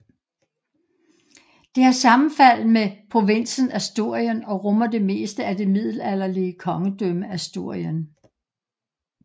Det har sammenfald med provinsen Asturien og rummer det meste af det middelalderlige kongedømme Asturien